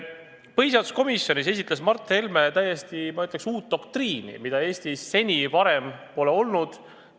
Põhiseaduskomisjonis esitles Mart Helme täiesti, ma ütleks, uut doktriini, mida Eestis seni varem pole olnud.